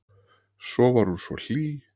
Svo var hún svo hlý.